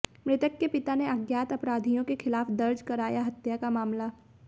मृतक के पिता ने अज्ञात अपराधियों के खिलाफ दर्ज कराया हत्या का मामला